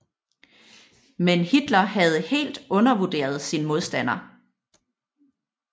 Men Hitler havde helt undervurderet sin modstander